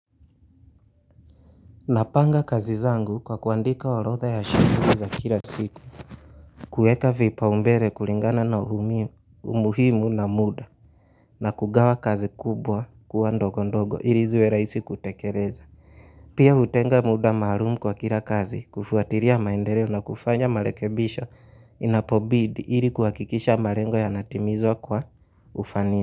Napanga kazi zangu kwa kuandika orodha ya shughuli za kila siku, kueka vipa umbere kulingana na umuhimu na muda na kugawa kazi kubwa kuwa ndogo ndogo ili ziwe rahisi kutekereza. Pia hutenga muda maharumu kwa kila kazi, kufuatiria maendereo na kufanya marekebisho inapobidi ili kuhakikisha marengo yanatimizwa kwa ufanisi.